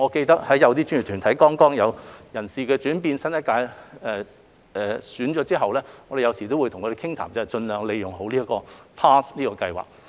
當一些專業團體有人事轉變時，當我們與新一屆交談時都會鼓勵他們盡量利用 PASS 這個計劃。